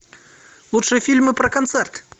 лучшие фильмы про концерт